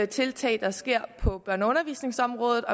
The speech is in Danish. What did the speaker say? tiltag der sker på børne og undervisningsområdet